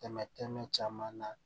Tɛmɛ tɛmɛ caman na